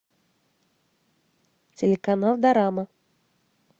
телеканал дорама